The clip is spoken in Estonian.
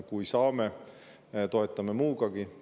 Kui saame, toetame muugagi.